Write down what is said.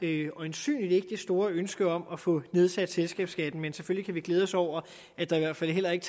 er øjensynligt ikke det store ønske om at få nedsat selskabsskatten men selvfølgelig kan vi glæde os over at der i hvert fald heller ikke